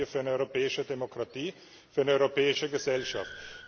Das brauchen wir für eine europäische Demokratie, für eine europäische Gesellschaft.